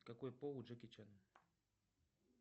какой пол у джеки чана